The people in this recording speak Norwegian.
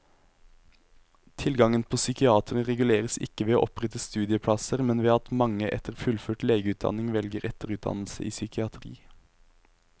Tilgangen på psykiatere reguleres ikke ved å opprette studieplasser, men ved at mange etter fullført legeutdannelse velger etterutdannelse i psykiatri.